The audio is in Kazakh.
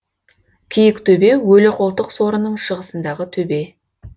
киіктөбе өліқолтық сорының шығысындағы төбе